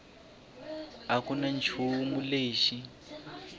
a ku na nchumu lexi